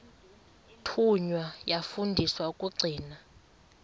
thunywa yafundiswa ukugcina